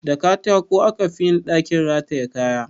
Da katako aka fi yin ɗakin rataye kaya